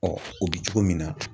o bi cogo min na